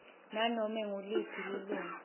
nanobe nguliphi lilunga